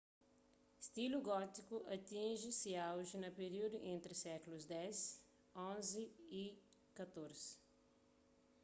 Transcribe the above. stilu gótiku atinji se auji na períudu entri sékulus x xi y xiv